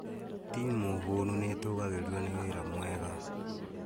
Timu hũnu nĩ ĩtũgĩirio nĩ wĩra mwega